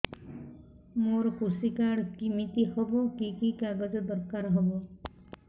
ମୋର କୃଷି କାର୍ଡ କିମିତି ହବ କି କି କାଗଜ ଦରକାର ହବ